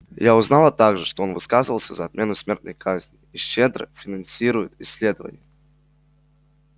я узнала также что он высказывался за отмену смертной казни и щедро финансирует исследования